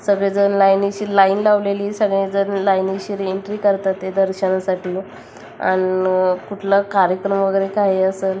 सगळे जण लाइनिशीर लाइन लावलेली सगळे जण लाइनिशीर एंट्री करतातते दर्शनासाठी अन कुठला कार्यक्रम वगैरे काही असल --